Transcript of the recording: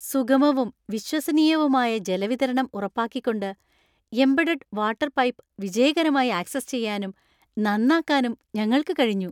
സുഗമവും വിശ്വസനീയവുമായ ജലവിതരണം ഉറപ്പാക്കിക്കൊണ്ട്, എംബഡഡ് വാട്ടർ പൈപ്പ് വിജയകരമായി ആക്സസ് ചെയ്യാനും, നന്നാക്കാനും ഞങ്ങൾക്ക് കഴിഞ്ഞു.